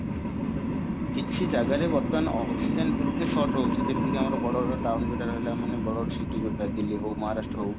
କିଛି ଜାଗାରେ ବର୍ତ୍ତମାନ oxygen ଏତେ sort ରହୁଛି ଯେମିତି କି ଆମର ବଡ ବଡ town ଯୋଉଟା ରହିଲା ମାନେ ବଡ ବଡ city ଯୋଉଟା ଦିଲ୍ଲୀ ହଉ ମହାରାଷ୍ଟ୍ର ହଉ